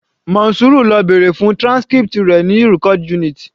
Monsura lọ bèrè fún transcript rẹ̀ ní record unit